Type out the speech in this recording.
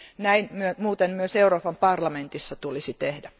Näin muuten myös Euroopan parlamentissa tulisi tehdä.